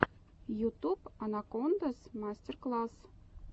ютуб анакондаз мастер класс